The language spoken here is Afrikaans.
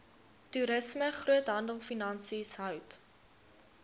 toerisme groothandelfinansies hout